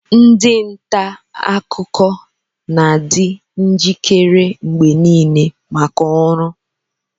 ndị nta akụkọ na-adị njikere mgbe niile maka ọrụ